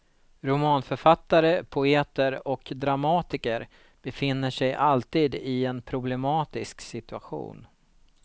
Romanförfattare, poeter och dramatiker befinner sig alltid i en problematisk situation.